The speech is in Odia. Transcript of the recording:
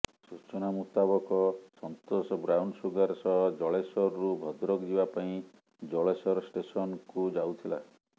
ସୂଚନା ମୁତାବକ ସନ୍ତୋଷ ବ୍ରାଉନସୁଗର ସହ ଜଳେଶ୍ୱରରୁ ଭଦ୍ରକ ଯିବା ପାଇଁ ଜଳେଶ୍ୱର ଷ୍ଟେସନ୍କୁ ଯାଉଥିଲା